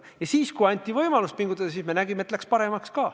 Ja siis, kui anti võimalus pingutada, siis me nägime, et läks paremaks.